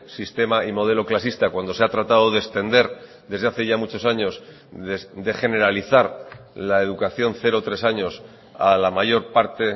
sistema y modelo clasista cuando se ha tratado de extender desde hace ya muchos años de generalizar la educación cero tres años a la mayor parte